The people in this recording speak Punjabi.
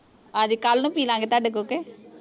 ਹਾਂਜੀ ਕੱਲ ਨੂੰ ਪੀ ਲਾਂਗੇ ਤੁਹਾਡੇ ਕੋਲ ਕੇ